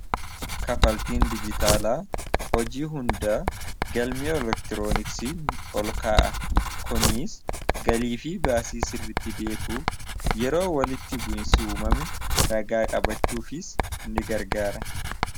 kafaltiin dijitaalaa hojii hundaa galmi elektirooniksii ol kaa'a kuniis galiifii baasii sirritti beekuuf yeroo walitti bu'insi uumame ragaa qabachuufis ni gargaara